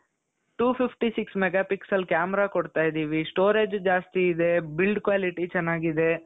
two fifty six mega pixel camera ಕೊಡ್ತಾ ಇದ್ದೀವಿ storage ಜಾಸ್ತಿ ಇದೆ build quality ಚೆನ್ನಾಗಿದೆ.